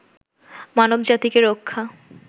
মানবজাতিকে রক্ষা